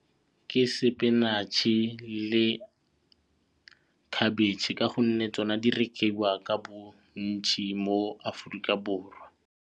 Ke spinach-e le khabetšhe ka gonne tsona di rekiwa ka bontšhi mo Aforika Borwa.